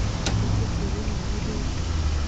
Nĩkĩkĩũru nawe rĩu